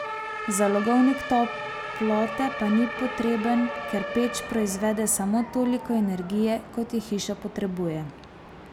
Zalogovnik toplote pa ni potreben, ker peč proizvede samo toliko energije, kot je hiša potrebuje.